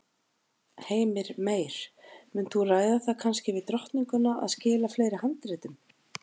Heimir Meir: Munt þú ræða það kannski við drottninguna að skila fleiri handritum?